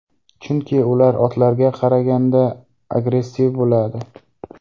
Chunki ular otlarga qaraganda agressiv bo‘ladi.